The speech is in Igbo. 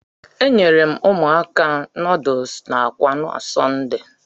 E nyeere m ụmụaka nuduls n'akwa na Sọnde.